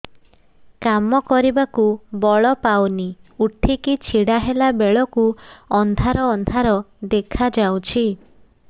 କାମ କରିବାକୁ ବଳ ପାଉନି ଉଠିକି ଛିଡା ହେଲା ବେଳକୁ ଅନ୍ଧାର ଅନ୍ଧାର ଦେଖା ଯାଉଛି